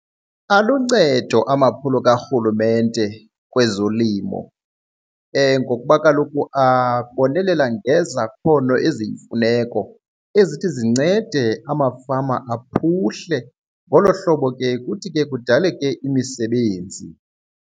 Aluncedo amaphulo karhulumente kwezolimo ngokuba kaloku abonelela ngezakhono eziyimfuneko ezithi zincede amafama aphuhle. Ngolo hlobo ke kuthi ke kudaleke imisebenzi.